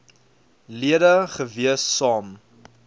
lede gewees saam